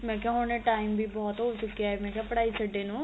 ਮੈਂ ਕਿਹਾ ਹੁਣ ਇਹ time ਵੀ ਬਹੁਤ ਹੋ ਚੁਕਿਆ ਮੈਂ ਕਿਹਾ ਪੜਾਈ ਛਡੇ ਨੂੰ